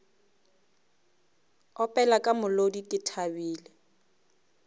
opela ka molodi ke thabile